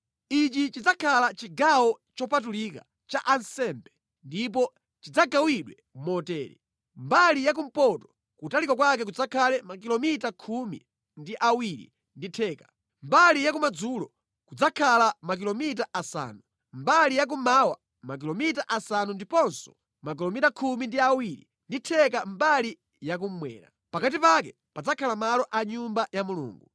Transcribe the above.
Ichi chidzakhala chigawo chopatulika cha ansembe ndipo chidzagawidwe motere: Mbali ya kumpoto kutalika kwake kudzakhala makilomita khumi ndi awiri ndi theka, mbali ya kumadzulo kudzakhala makilomita asanu, mbali ya kummawa makilomita asanu ndiponso makilomita khumi ndi awiri ndi theka mbali yakummwera. Pakati pake padzakhala malo a Nyumba ya Mulungu.